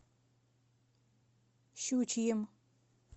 щучьим